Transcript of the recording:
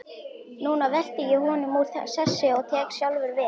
Núna velti ég honum úr sessi og tek sjálfur við.